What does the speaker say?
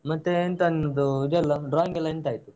ಮತ್ತೆ ಎಂತ ನಿಮ್ದು ಇದೆಲ್ಲ drawing ಎಲ್ಲ ಎಂತಾಯ್ತು?